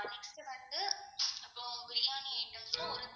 phone